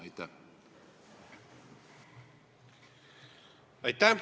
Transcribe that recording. Aitäh!